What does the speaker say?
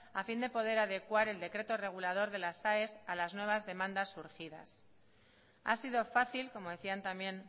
a fin de poder adecuar el decreto regulador de las aes a las nuevas demandas surgidas ha sido fácil como decían también